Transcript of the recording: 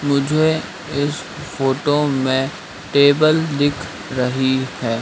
मुझे इस फोटो में टेबल दिख रही है।